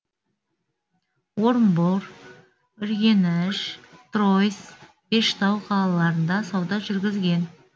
орынбор үргеніш тройц бештау қалаларында сауда жүргізген